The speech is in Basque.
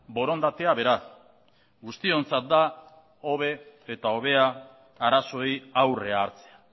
borondatea bera guztiontzat da hobe eta hobea arazoei aurrea hartzea